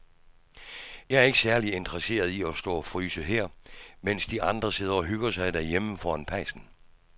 Jeg er ikke særlig interesseret i at stå og fryse her, mens de andre sidder og hygger sig derhjemme foran pejsen.